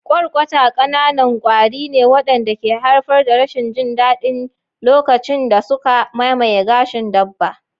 Kwarkwata ƙananan kwari ne waɗanda ke haifar da rashin jin daɗi lokacin da suka mamaye gashin dabba.